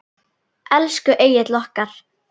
Elsku Egill okkar.